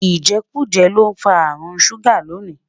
ijekuje l'ofa àrùn ṣuga tóní